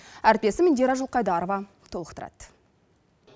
әріптесім индира жылқайдарова толықтырады